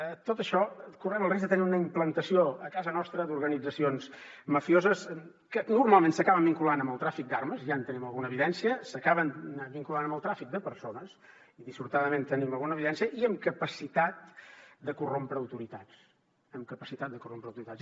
amb tot això correm el risc de tenir una implantació a casa nostra d’organitzacions mafioses que normalment s’acaben vinculant amb el tràfic d’armes ja en tenim alguna evidència s’acaben vinculant amb el tràfic de persones i dissortadament en tenim alguna evidència i amb capacitat de corrompre autoritats amb capacitat de corrompre autoritats